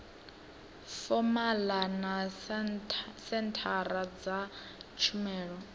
fomala na senthara dza tshumelo